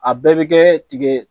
A bɛɛ bɛ kɛɛ tigɛ